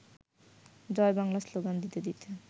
জয় Bangla slogan দিতে দিতে